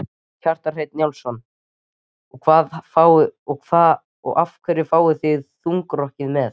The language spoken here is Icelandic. Kjartan Hreinn Njálsson: Og af hverju fáið þið þungarokkið með?